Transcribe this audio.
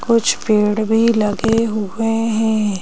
कुछ पेड़ भी लगे हुए है।